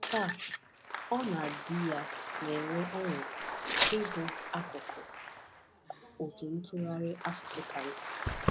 Taa, ọ na di ya na-enwe ọṅụ ịbụ akụkụ otu ntụgharị asụsụ Kamsi.